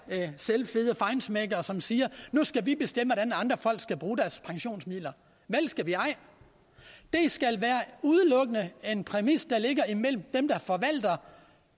selvfede feinschmeckere som siger at nu skal vi bestemme hvordan andre folk skal bruge deres pensionsmidler vel skal vi ej det skal udelukkende en præmis der ligger mellem dem der forvalter